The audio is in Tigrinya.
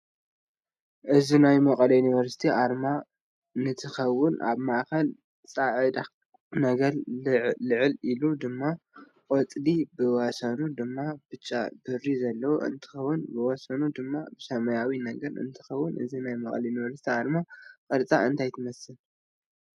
እዚ ናይ መቀለ ይንቨርስት ኣርማ ንትከውን ኣብ ማእከላ ፃዕዳ ነገር ልዕል ኢሉ ድማ ቆፃሊ ብወሰኑ ድማ ብጫ ብሪ ዘለዋ እንትከውን ብውሰኑ ብማ ሰማያዊ ነገር እንትከውን እዚ ናይ መቀለ ይንቨርስት ኣርማ ቅርፃ እንታይ ትመስል?